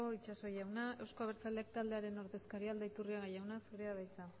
itxaso jauna euzko abertzaleak taldearen ordezkaria den aldaiturriaga jauna zurea da hitza